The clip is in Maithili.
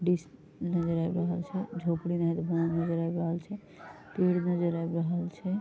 दृश्य नजर आब रहल छै झोपड़ी नजर आब रहल छै पेड़ नजर आब रहल छै।